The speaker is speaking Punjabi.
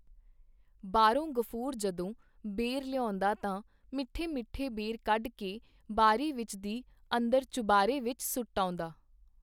ਬਾਹਰੋਂ ਗ਼ਫੂਰ ਜਦੋਂ ਬੇਰ ਲਿਆਉਂਦਾ ਤਾਂ ਮਿੱਠੇ ਮਿੱਠੇ ਬੇਰ ਕੱਢ ਕੇ ਬਾਰੀ ਵਿੱਚ ਦੀ ਅੰਦਰ ਚੁਬਾਰੇ ਵਿੱਚ ਸੁੱਟ ਆਉਂਦਾ.